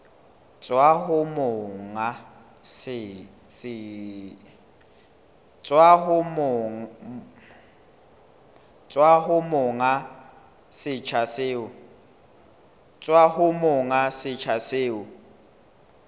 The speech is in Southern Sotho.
tswa ho monga setsha seo